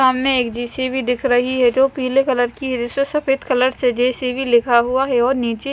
सामने एक जे_सी_बी दिख रही है जो पीले कलर की है जिसमें सफेद कलर से जे_सी_बी लिखा हुआ है और नीचे--